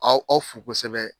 Aw aw fo kosɛbɛ